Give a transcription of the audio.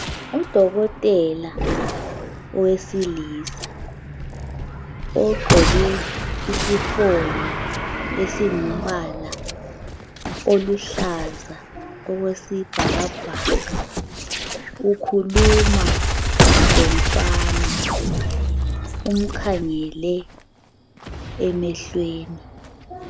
Udokotela owesilisa ugqoke isifonyo esingumbala oluhlaza okwesibhakabhaka ukhuluma lomfana umkhangele emehlweni.